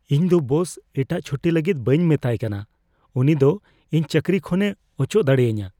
ᱤᱧ ᱫᱚ ᱵᱚᱥ ᱮᱴᱟᱜ ᱪᱷᱩᱴᱤ ᱞᱟᱹᱜᱤᱫ ᱵᱟᱹᱧ ᱢᱮᱛᱟᱭ ᱠᱟᱱᱟ ᱾ ᱩᱱᱤ ᱫᱚ ᱤᱧ ᱪᱟᱹᱠᱨᱤ ᱠᱷᱚᱱᱼᱮ ᱚᱪᱚᱜ ᱫᱟᱲᱮ ᱟᱹᱧᱟᱹ ᱾